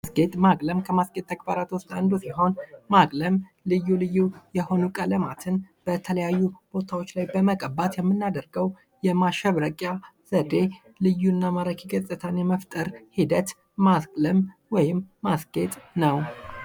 ማስጌጥ፦ ማቅለም ከማስጌጥ ተግባራቶች ውስጥ አንዱ ሲሆን ማቅለም ልዩ ልዩ የሆኑ ቀለማትን በተለያዩ ቦታዎች ላይ በመቀጠል የምናደርገው የማሸበረቂያ ዘዴ ልዩ እና ማራኪ ገጽታ የመፍጠር ሂደት ማስጌጥ ነው።